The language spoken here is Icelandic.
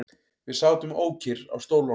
Við sátum ókyrr á stólunum.